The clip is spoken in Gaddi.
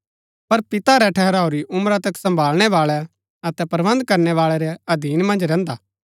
पर पिता रै ठहराऊरी उमरा तक सम्भाळणै बाळै अतै प्रबन्ध करणै बाळै रै अधीन मन्ज रैहन्दा